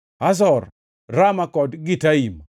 Hazor, Rama kod Gitaim,